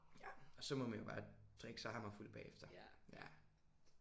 Ja og så må man jo bare drikke sig hammerfuld bagefter